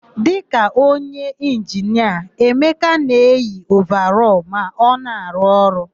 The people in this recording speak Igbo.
Dịka onye inginia, Emeka na-eyi ovarọlụ ma ọ na-arụ ọrụ.